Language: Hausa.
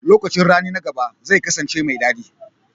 Lokacin rani na gaba zai kasance mai daɗi.